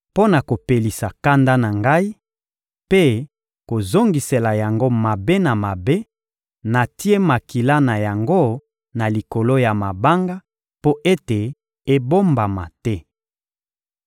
Mpo na kopelisa kanda na Ngai mpe kozongisela yango mabe na mabe, natie makila na yango na likolo ya mabanga mpo ete ebombama te.